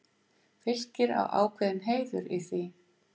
Fylkir á ákveðinn heiður í því.